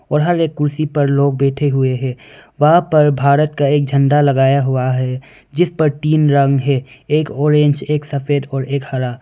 बाहर एक कुर्सी पर लोग बैठे हुए है वहां पर भारत का एक झंडा लगाया हुआ है जिस पर तीन रंग है एक ऑरेंज एक सफेद और एक हरा।